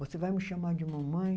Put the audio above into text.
Você vai me chamar de mamãe?